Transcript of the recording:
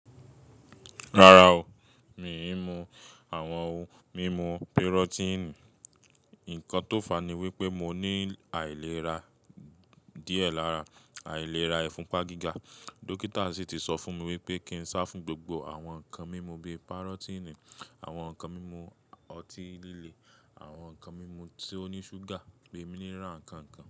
Rárá o, mi mú àwọn ohun mímu pirotini. Nǹkan tó fàni wípé mo ní àìlera díẹ̀ lára àìlera ẹfunpa giga. Dókítà sì ti sọ fún mi wípé kí n sá fún gbogbo àwọn nǹkan mímu bí i parotini, àwọn nǹkan mímu ọtí líle, àwọn nǹkan mímu tí ó ní ṣúgà, leminira nǹkan nǹkan.